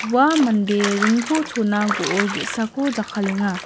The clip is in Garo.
ua mande ringko chona go·ol ge·sako jakkalenga.